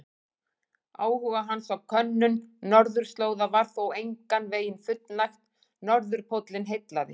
Áhuga hans á könnun norðurslóða var þó engan veginn fullnægt, norðurpóllinn heillaði.